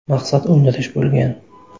Maqsad o‘ldirish bo‘lgan.